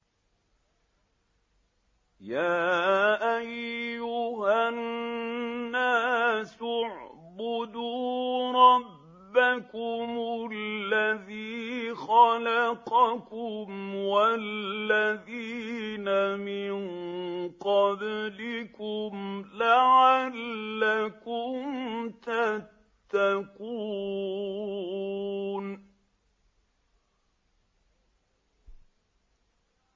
يَا أَيُّهَا النَّاسُ اعْبُدُوا رَبَّكُمُ الَّذِي خَلَقَكُمْ وَالَّذِينَ مِن قَبْلِكُمْ لَعَلَّكُمْ تَتَّقُونَ